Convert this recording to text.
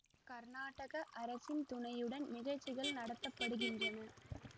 கர்நாடக அரசின் துணையுடன் நிகழ்ச்சிகள் நடத்த படுகின்றன